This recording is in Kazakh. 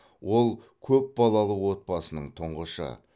ол көпбалалы отбасының тұңғышы